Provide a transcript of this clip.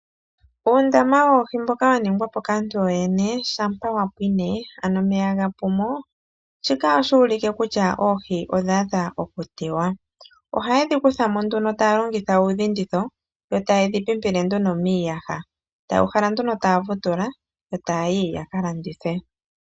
Uundama woohi mboka wa ningwa po kaantu yoyene shampa wa pwine, ano omeya ga pu mo, shika ohashi ulike kutya oohi odha adha okutewa. Ohaye dhi kutha mo nduno taa longitha uudhinditho, yo taye dhi pimpile nduno miiyaha. Taya uhala nduno taya vutula, yo taa yi ya ka landithe.